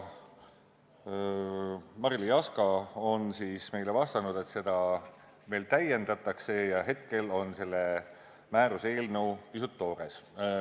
Marily Jaska vastas meile, et seda veel täiendatakse, hetkel on määruse eelnõu pisut toores.